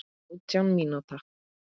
Átjánda mínúta.